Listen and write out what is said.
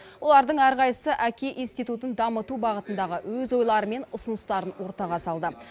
олардың әрқайсысы әке институтын дамыту бағытындағы өз ойлары мен ұсыныстарын ортаға салды